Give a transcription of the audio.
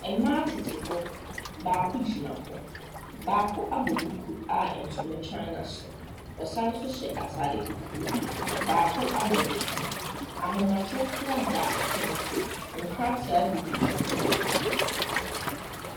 Mmaa tete hɔ. Baako gyina hɔ. Baako abɔ duku a ntoma tware n'asene. Ɔsan nso hyɛ atade fufuo. Baako abɔ ne ti. Ahomatorofoɔ da pono so. Nkrataa gugu pono so.